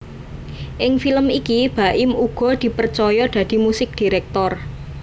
Ing film iki Baim uga dipercaya dadi musik director